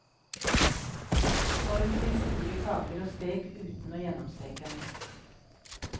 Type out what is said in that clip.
Form til store kaker og stek uten å gjennomsteke.